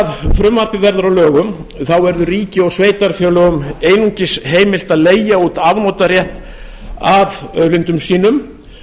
ef frumvarpið verður að lögum verður ríki og sveitarfélögum einungis heimilt að leigja út afnotarétt að auðlindum sínum